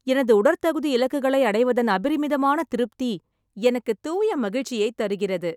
எனது உடற்தகுதி இலக்குகளை அடைவதன் அபரிமிதமான திருப்தி எனக்கு தூய மகிழ்ச்சியைத் தருகிறது.